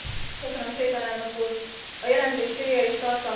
A jelentés célja és tartalma mindenképpen üdvözlendő.